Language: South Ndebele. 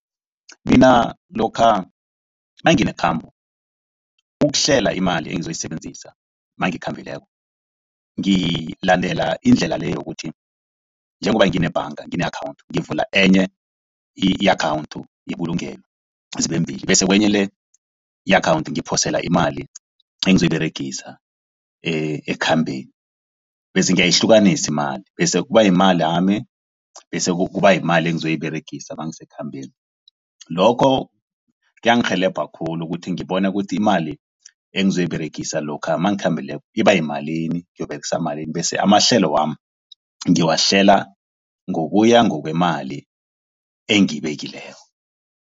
Mina lokha nangine khambo. Ukuhlela imali engizoyisebenzisa nangikhambileko, ngilandela indlela le yokuthi njengoba ngine ebhanga ngine akhawunthi. Ngivula enye i-akhawundi yebulungelo zibe mbili, bese kwenye le i-akhawunthi ngiphosele imali engizoyiberegisa ekukhambeni, bese ngiyayihlukanisi imali. Bese kuba yimali yami, bese kuba yimali engizoyiberegisa nangi sekhambeni. Lokho kuyangirhelebha khulu ukuthi ngibone ukuthi imali engizoyiberegisa lokha nangikhambileko iba yimalini, ngiyokuberegisa malini, bese amahlelo wami ngiwahlela ngokuya ngokweemali engiyibekileko.